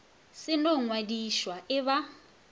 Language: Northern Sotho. se no ngwadišwa e ba